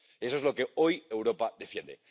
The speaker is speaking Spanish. eso es lo que hoy Europa defiende.